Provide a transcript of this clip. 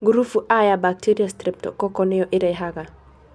Ngurubu A ya bacteria strep(streptococcal) nĩyo ĩrehage.